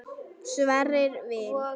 Sverrir Vil.